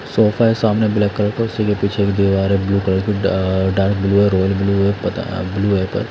Sofa है सामने black colour का उसी के पीछे एक दीवार है ब्लू कलर की अ डार्क ब्लू है रॉयल ब्लू है ब्लू है पर।